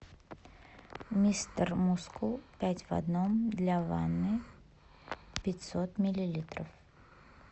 мистер мускул пять в одном для ванны пятьсот миллилитров